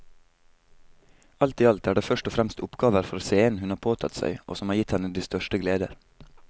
Alt i alt er det først og fremst oppgaver for scenen hun har påtatt seg og som har gitt henne de største gleder.